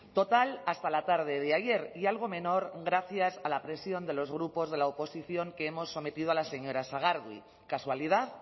total hasta la tarde de ayer y algo menor gracias a la presión de los grupos de la oposición que hemos sometido a la señora sagardui casualidad